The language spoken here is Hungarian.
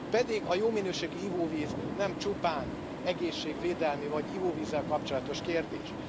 Pedig a jó minőségű ivóvíz nem csupán egészségvédelmi vagy ivóvízzel kapcsolatos kérdés.